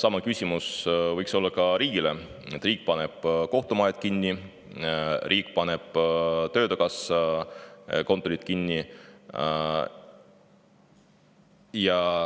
sama küsimuse esitada ka riigile, sest riik paneb kohtumajad kinni, riik paneb töötukassa kontorid kinni.